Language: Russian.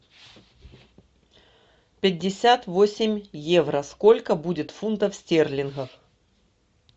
пятьдесят восемь евро сколько будет фунтов стерлингов